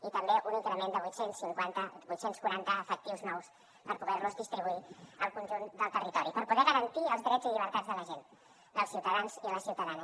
i també un increment de vuit cents i quaranta efectius nous per poder los distribuir al conjunt del territori per poder garantir els drets i llibertats de la gent dels ciutadans i les ciutadanes